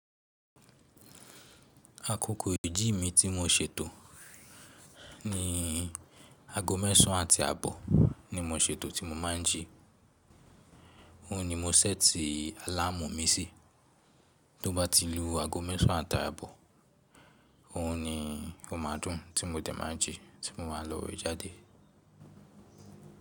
Akókò ìji mi tí mo ṣètò ni aago mẹ́sàn àti àbọ̀ ni mo ṣètò tí mo máa ń jí. Ohun ni mo ṣẹ́ẹ̀tì àlámù mi sí. Tó bá ti lu aago mẹ́sàn àti àbọ̀, òhun ni mo máa dùn tí mo dẹ̀ máa jí tí mo máa lọ́ ìjáde.